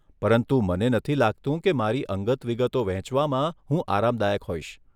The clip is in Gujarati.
પરંતુ મને નથી લાગતું કે મારી અંગત વિગતો વહેંચવામાં હું આરામદાયક હોઈશ.